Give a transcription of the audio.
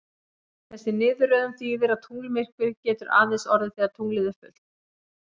Þessi niðurröðun þýðir að tunglmyrkvi getur aðeins orðið þegar tunglið er fullt.